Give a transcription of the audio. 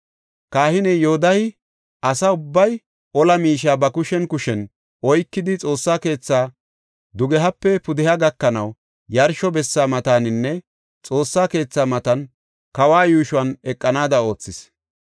Kahiney Yoodahey asa ubbay ola miishe ba kushen kushen oykidi Xoossa keethaa dugehape pudeha gakanaw yarsho bessa mataninne Xoossa keethaa matan kawa yuushon eqanaada oothis.